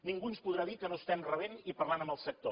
ningú ens podrà dir que no estem rebent i parlant amb el sector